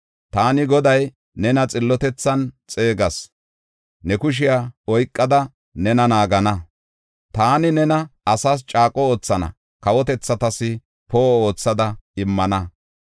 Taani Goday nena xillotethan xeegas; ne kushiya oykada nena naagana. Taani nena asaas caaqo oothana; kawotethatas poo7o oothada immana.